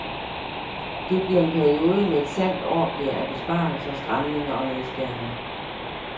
Det bliver en periode med et sandt orgie af besparelser, stramninger og nedskæringer.